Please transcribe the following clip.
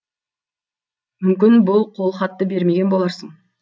мүмкін бұл қолхатты бермеген боларсың